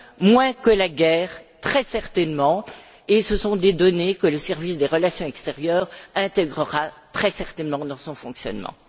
terme. Moins que la guerre, très certainement, et ce sont des données que le service des relations extérieures intégrera très certainement dans son fonctionnement.